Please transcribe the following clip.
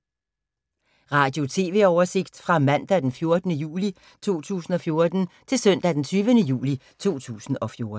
Radio/TV oversigt fra mandag d. 14. juli 2014 til søndag d. 20. juli 2014